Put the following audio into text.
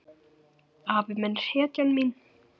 Afi minn er hetjan mín.